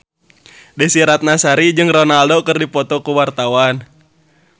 Desy Ratnasari jeung Ronaldo keur dipoto ku wartawan